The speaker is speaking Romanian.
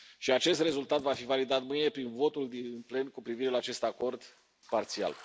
Acest rezultat va fi validat prin votul din plen cu privire la acest acord parțial.